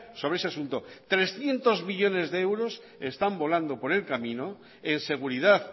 sobre ese asunto trescientos millónes de euros están volando por el camino en seguridad